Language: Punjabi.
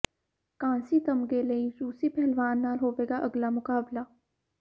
ਕਾਂਸੀ ਤਮਗੇ ਲਈ ਰੂਸੀ ਪਹਿਲਵਾਨ ਨਾਲ ਹੋਵੇਗਾ ਅਗਲਾ ਮੁਕਾਬਲਾ